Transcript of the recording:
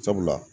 Sabula